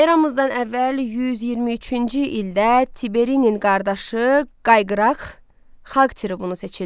Eramızdan əvvəl 123-cü ildə Tiberinin qardaşı Qayqıraq xalq tribunu seçildi.